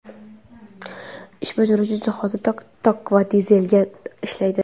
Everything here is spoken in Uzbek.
Ish bajaruvchi jihozi tok va dizelga ishlaydi.